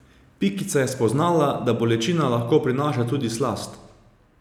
Pikica je spoznala, da bolečina lahko prinaša tudi slast.